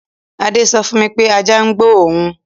Adé sọ fún mi wípé ajá gbó òun